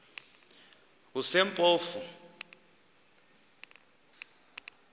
kusempofu